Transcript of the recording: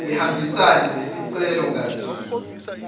ihambisane nesicelo ngasinye